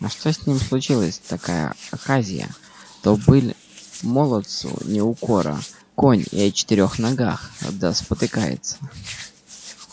а что с ним случилась такая оказия то быль молодцу не укора конь и о четырёх ногах да спотыкается